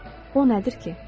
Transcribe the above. O nədir ki?